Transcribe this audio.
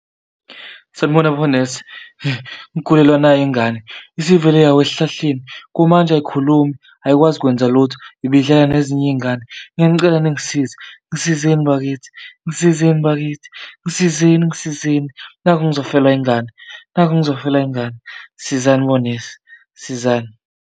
Sanibona bonesi ngigulelwa nayi ngane isivele yawa esihlahleni, kumanje ayikhulumi ayikwazi kwenza lutho, ibidlala nezinye iy'ngane. Ngiyanicela ningisize, ngisizeni bakithi, ngisizeni bakithi, ngisizeni ngisizeni, nakhu ngizofelwa ingane, nakhu ngizofelwa ingane sizani bonesi, sizani.